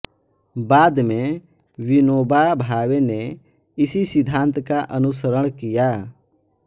बाद में विनोबा भावे ने इसी सिद्धांत का अनुसरण किया